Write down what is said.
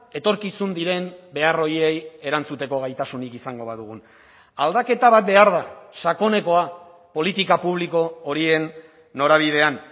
etorkizun diren behar horiei erantzuteko gaitasunik izango badugun aldaketa bat behar da sakonekoa politika publiko horien norabidean